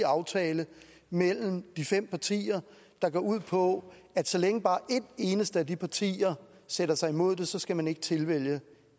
aftale mellem de fem partier der går ud på at så længe bare et eneste af de partier sætter sig imod det så skal man ikke tilvælge